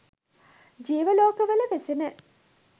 ජීව ලෝකවල වෙසෙන